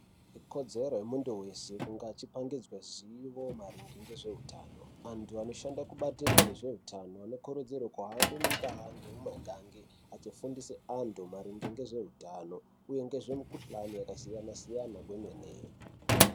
Ikodzero yemuntu wese kunge achipangidzwe zivo maringe ngezveutano. Antu anoshanda mubandiko rezveutano anokurudzirwe kuhambe mundaa ngemumakange achifundise antu maringe ngezveutano uye ngezvemikuhlani yakasiyana-siyana kwemene.